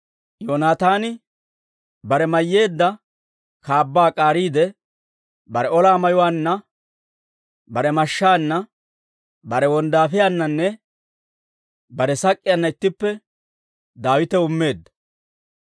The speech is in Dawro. Yoonataani bare mayyeedda kaabbaa k'aariide, bare ola mayuwaanna, bare mashshaanna, bare wonddaafiyaananne bare sak'k'iyaanna ittippe Daawitaw immeedda.